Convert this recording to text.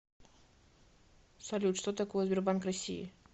салют что такое сбербанк россии